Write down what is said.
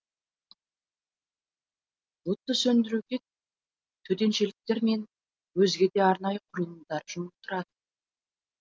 отты сөндіруге төтеншеліктер мен өзге де арнайы құрылымдар жұмылдырылды